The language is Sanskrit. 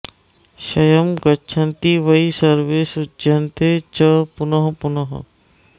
क्षयं गच्छन्ति वै सर्वे सृज्यन्ते च पुनः पुनः